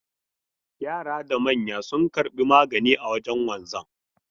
Yara da manya sun karbi magani a wajen wanzan.